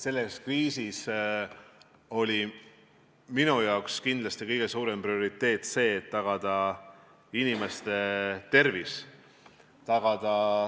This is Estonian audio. Selles kriisis oli minu jaoks kindlasti kõige suurem prioriteet see, et tagada inimeste tervis.